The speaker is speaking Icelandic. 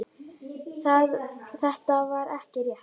Það er ekki rétt.